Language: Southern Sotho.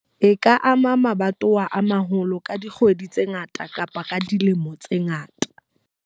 E ka ama mabatowa a maholo ka dikgwedi tse ngata kapa dilemo tse ngata.